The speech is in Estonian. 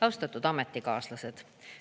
Austatud ametikaaslased!